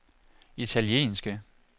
italienske